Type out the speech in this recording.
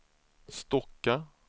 Stocka